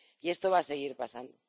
Y esto va a seguir pasando.